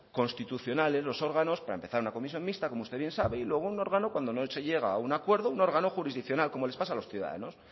constitucionales los órganos para empezar una comisión mixta como usted bien sabe y luego un órgano cuando no se llega a un acuerdo un órgano jurisdiccional como les pasa a los ciudadanos